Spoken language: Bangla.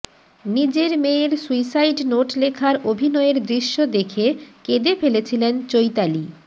নিজের মেয়ের সুইসাইড নোট লেখার অভিনয়ের দৃশ্য দেখে কেঁদে ফেলেছিলেন চৈতালি